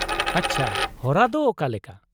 -ᱟᱪᱪᱷᱟ, ᱦᱚᱨᱟᱫᱚ ᱚᱠᱟᱞᱮᱠᱟ ?